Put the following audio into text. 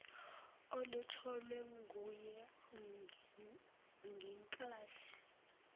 olutholwe nguye ngenklathi